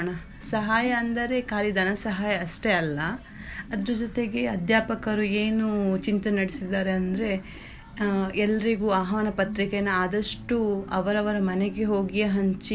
ಸಹಾಯ ಅಂದ್ರೆ ಖಾಲಿ ಧನ ಸಹಾಯ ಅಷ್ಟೇ ಅಲ್ಲಾ ಅದ್ರ ಜೊತೆಗೆ ಅಧ್ಯಾಪಕರು ಏನೂ ಚಿಂತೆ ನಡ್ಸಿದ್ದಾರೆಂದ್ರೆ ಎಲರಿಗೂ ಅಹ್ವಾನ ಪತ್ರಿಕೆಯನ್ನು ಆದಷ್ಟು ಅವರವರ ಮನೆಗೆ ಹೋಗಿ ಹಂಚಿ.